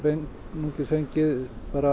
einungis fengið